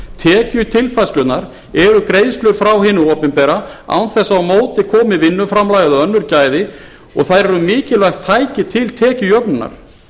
tekjutilfærslurnar eru greiðslur frá hinu opinbera án þess að á móti komi vinnuframlag eða önnur gæði og þau eru mikilvægt tæki til tekjujöfnunar